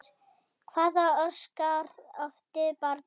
Hvað orsakar offitu barna?